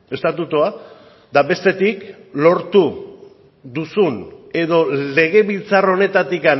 estatutua eta bestetik lortu duzun edo legebiltzar honetatik